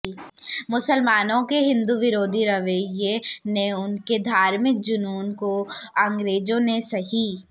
मुसलमानो के हिन्दु विरोधी रवैये व उनके धार्मिक जूनून को अंग्रेजो ने सही